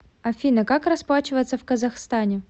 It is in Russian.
афина как расплачиваться в казахстане